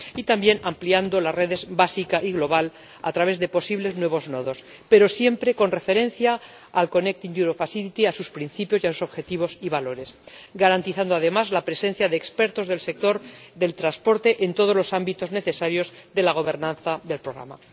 y también ampliando las redes básica y global a través de posibles nuevos nodos, pero siempre con referencia al Mecanismo Conectar Europa, a sus principios y a sus objetivos y valores, garantizando además la presencia de expertos del sector del transporte en todos los ámbitos necesarios de la gobernanza del programa.